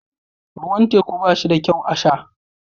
Ruwan teku ba shi da kyau a sha